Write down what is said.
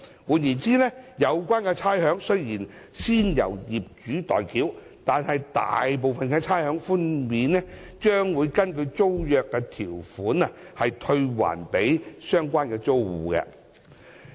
換言之，有關差餉雖然先由業主代繳，但大部分的差餉寬免將根據租約條款退還予相關租戶。